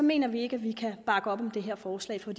mener vi ikke at vi kan bakke op om det her forslag for